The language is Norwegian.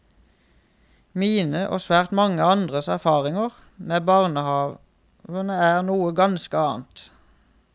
Mine og svært mange andres erfaringer med barnehavene er noe ganske annet.